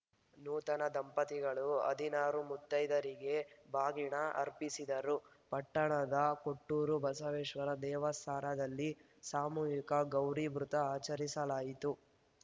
ನೂತನ ದಂಪತಿಗಳು ಹದಿನಾರು ಮುತ್ತೈದಯರಿಗೆ ಬಾಗಿಣ ಅರ್ಪಿಸಿದರು ಪಟ್ಟಣದ ಕೊಟ್ಟೂರು ಬಸವೇಶ್ವರ ದೇವಸಾರದಲ್ಲಿ ಸಾಮೂಹಿಕ ಗೌರಿ ವೃತ ಆಚರಿಸಲಾಯಿತು